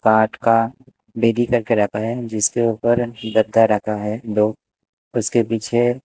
काट का करके रखा है जिसके ऊपर गत्ता रखा है दो उसके पीछे--